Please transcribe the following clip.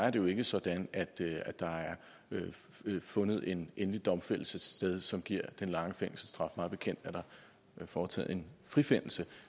jo ikke er sådan at der har fundet en endelig domfældelse sted som giver den lange fængselsstraf mig bekendt er der foretaget en frifindelse